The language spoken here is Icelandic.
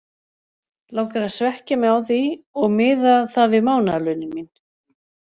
Langar að svekkja mig á því og miða það við mánaðarlaunin mín!